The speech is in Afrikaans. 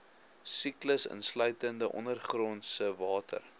siklus insluitende ondergrondsewater